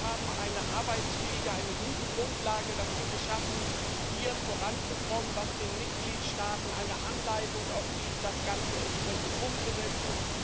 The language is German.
Wir haben eine arbeitsfähige, eine gute Grundlage dafür geschaffen, hier voranzukommen, was den Mitgliedstaaten auch eine Anleitung gibt, das Ganze entsprechend umzusetzen.